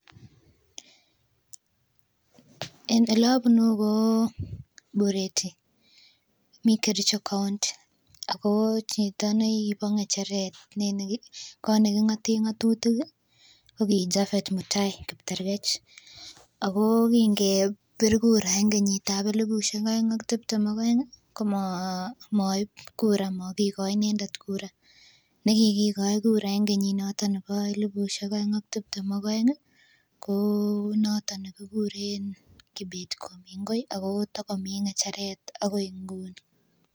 Elobunu ko Bureti mii Kericho county ako chito nekibo ng'echeret kot neking'oten ng'otutik ih ko ki Japhet Mutai Kiptergech ako kin kebir kura en kenyit ab elipusiek oeng ak tiptem ak oeng ih komoib kura makikoi inendet kura nekikikoi inendet kura en kenyit noton nebo elipusiek oeng ak tiptem ak oeng ih ko noton nekikuren Kibet Komingoi ako takomii ng'echeret akoi nguni